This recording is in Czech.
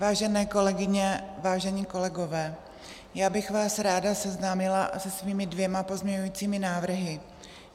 Vážené kolegyně, vážení kolegové, já bych vás ráda seznámila se svými dvěma pozměňujícími návrhy.